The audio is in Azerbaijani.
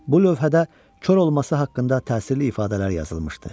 Bu lövhədə kor olması haqqında təsirli ifadələr yazılmışdı.